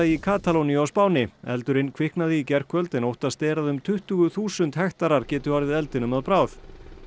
í Katalóníu á Spáni eldurinn kviknaði í gærkvöldi en óttast er að um tuttugu þúsund hektarar geti orðið eldinum að bráð